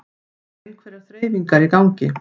Það eru einhverjar þreifingar í gangi